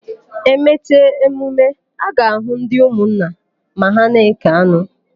E mecha emume, a ga-àhụ́ ndị ụmụnna ma ha na-ékè anụ.